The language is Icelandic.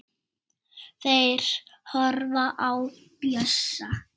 Þeir horfa á Bjössa.